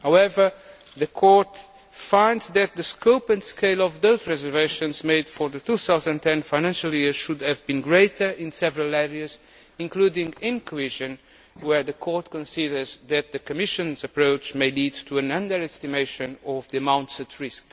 However, the Court finds that the scope and scale of those reservations made for the 2010 financial year should have been greater in several areas, including in cohesion where the Court considers that the Commission's approach may lead to an underestimation of the amounts at risk.